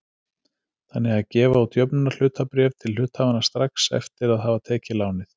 þannig að gefa út jöfnunarhlutabréf til hluthafanna strax eftir að hafa tekið lánið.